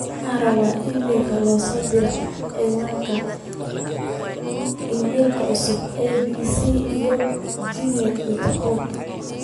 waxaan rabaa iimaylka loo soo diro ciwaanka iimaylka cusub a. b. c. iyo gmail dot com